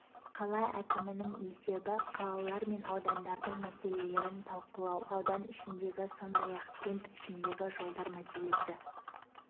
қала әкімінің есебі қалалар мен аудандардың мәселелерін талқылау аудан ішіндегі сондай-ақ кент ішіндегі жолдар мәселесі